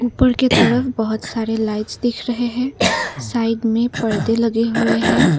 ऊपर के तरफ बहुत सारे लाइट्स दिख रहे हैं साइड में परदे लगे हुए हैं।